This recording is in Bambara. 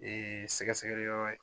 Ee sɛgɛsɛgɛ li yɔrɔ ye